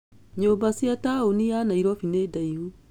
Nyũmba cia taũni ya Nairobi nĩ ndaihu.